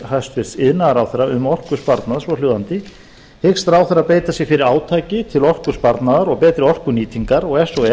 hæstvirts iðnaðarráðherra um orkusparnað svohljóðandi hyggst ráðherra beita sér fyrir átaki til orkusparnaðar og betri orkunýtingar og ef svo er